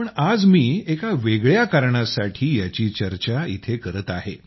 पण आज मी एका वेगळ्या कारणासाठी याची चर्चा इथे करत आहे